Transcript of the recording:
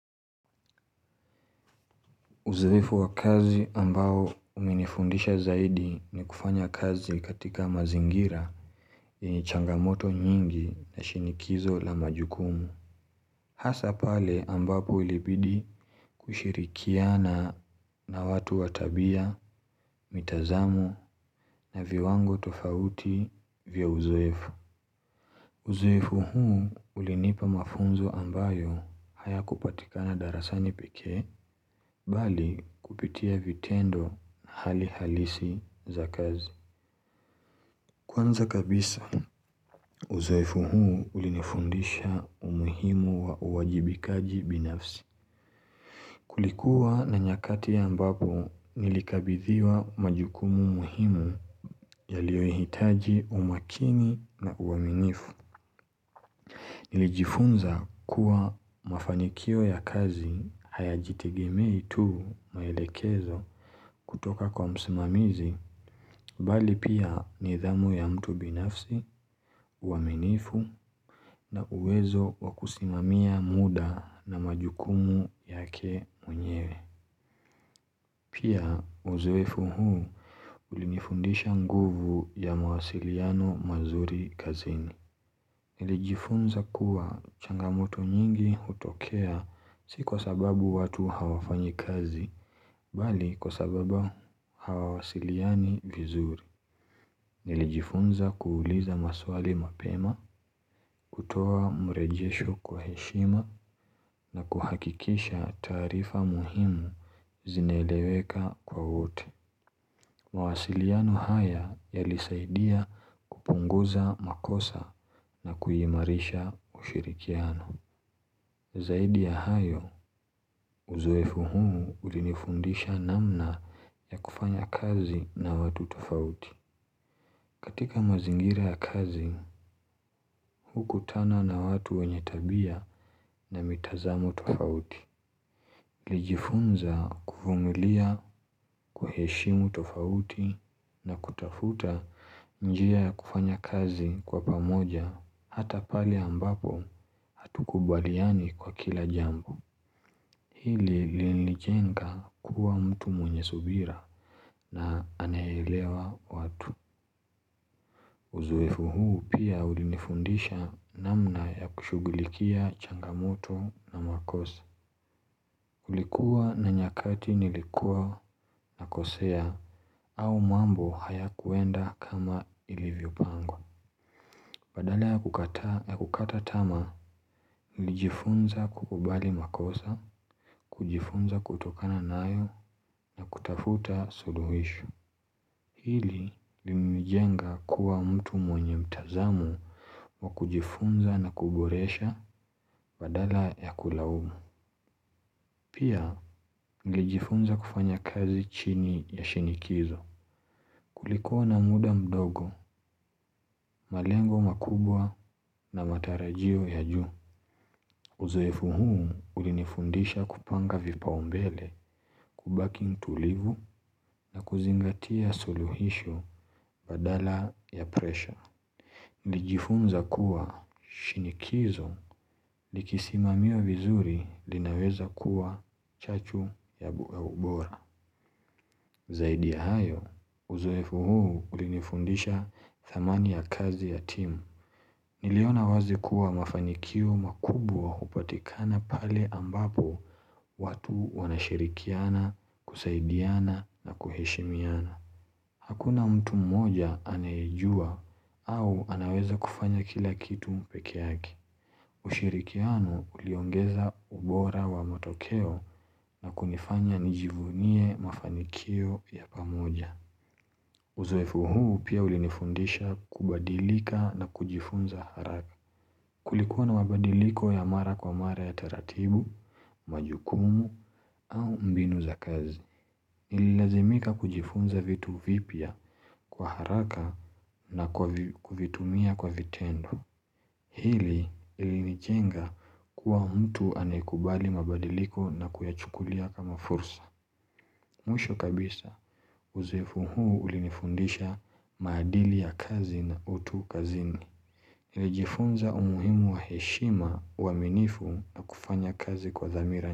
Uzoefu wa kazi ambao umenifundisha zaidi ni kufanya kazi katika mazingira yenye changamoto nyingi na shinikizo la majukumu. Hasa pale ambapo ilibidi kushirikiana na watu wa tabia, mitazamu na viwango tofauti vya uzoefu. Uzoefu huu, ulinipa mafunzo ambayo haya kupatika na darasani pekee, bali kupitia vitendo hali halisi za kazi. Kwanza kabisa, uzoefu huu ulinifundisha umuhimu wa uwajibikaji binafsi. Kulikuwa na nyakati ambapo, nilikabithiwa majukumu muhimu yaliyo hitaji umakini na uwaminifu. Nilijifunza kuwa mafanikio ya kazi haya jitegemei tu maelekezo kutoka kwa msimamizi, mbali pia nidhamu ya mtu binafsi, uaminifu na uwezo wa kusimamia muda na majukumu yake mwenyewe. Pia uzoefu huu ulinifundisha nguvu ya mawasiliano mazuri kazini. Nilijifunza kuwa changamoto nyingi utokea si kwa sababu watu hawafanyi kazi, bali kwa sababa hawawasiliani vizuri. Nilijifunza kuuliza maswali mapema, kutoa mrejesho kwa heshima na kuhakikisha taarifa muhimu zineleweka kwa uti. Mawasiliano haya yalisaidia kupunguza makosa na kuyimarisha ushirikiano. Zaidi ya hayo, uzoefu huu ulinifundisha namna ya kufanya kazi na watu tofauti. Katika mazingira ya kazi, huku tana na watu wenye tabia na mitazamu tofauti. Lijifunza kuvumilia, kuheshimu tofauti na kutafuta njia kufanya kazi kwa pamoja, hata pale ambapo hatukubaliani kwa kila jambo. Hili li nilijenga kuwa mtu mwenye subira na anaelewa watu Uzoefu huu pia ulinifundisha namna ya kushugulikia changamoto na makosa. Ulikuwa na nyakati nilikuwa nakosea au mambo haya kuenda kama ilivyo pangwa. Badala ya kukataa yakukata tama, nilijifunza kukubali makosa, kujifunza kutokana nayo na kutafuta suluhisho. Hili limijenga kuwa mtu mwenye mtazamu wa kujifunza na kuboresha badala ya kulaumu. Pia, nlijifunza kufanya kazi chini ya shinikizo. Kulikua na muda mdogo, malengo makubwa na matarajio ya juu. Uzoefu huu, ulinifundisha kupanga vipau mbele, kubaki mtulivu na kuzingatia suluhisho badala ya presha. Lijifunza kuwa shinikizo likisimamiwa vizuri linaweza kuwa chachu ya ubora Zaidi hayo, uzoefu huu ulinifundisha thamani ya kazi ya team, Niliona wazi kuwa mafanikio makubwa upatikana pale ambapo watu wanashirikiana, kusaidiana na kuheshimiana. Hakuna mtu mmoja anaejua au anaweza kufanya kila kitu pekee yake. Ushirikianu uliongeza ubora wa matokeo na kunifanya nijivunie mafanikio ya pamoja. Uzofu huu pia ulinifundisha kubadilika na kujifunza haraka. Kulikua na mabadiliko ya mara kwa mara ya taratibu, majukumu au mbinu za kazi. Ililazimika kujifunza vitu vipya kwa haraka na kwavi kuvitumia kwa vitendo. Hili ilinijenga kuwa mtu anaekubali mabadiliko na kuyachukulia kama fursa. Mwisho kabisa uzoefu huu ulinifundisha maadili ya kazi na utu kazini. Ilijifunza umuhimu wa heshima waminifu na kufanya kazi kwa thamira.